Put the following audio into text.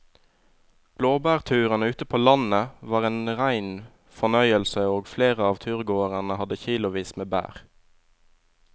Blåbærturen ute på landet var en rein fornøyelse og flere av turgåerene hadde kilosvis med bær.